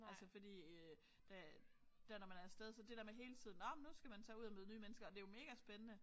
Altså fordi øh der der når man er af sted så det der med hele tiden nåh men nu skal man tage ud og møde nye mennesker og det jo megaspændende